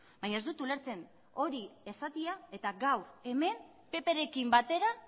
baina ez dut ulertzen hori esatea eta gaur hemen pprekin batera